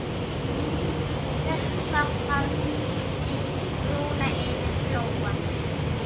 Þoka faldi brúna yfir Flóann.